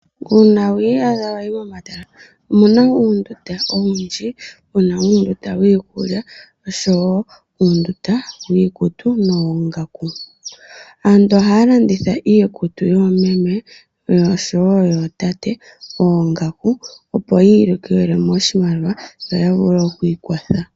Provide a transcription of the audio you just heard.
Uuna wi iyadha wa yi momatala omu na uundunda owundji mu na uundunda wiikulya nosho woo uundunda wiikutu no woongaku. Aantu oha ya landitha iikutu yoomeme nosho woo yootate, oongaku opo yi ilikolelemo oshimaliwa no yavule oku ikwatha.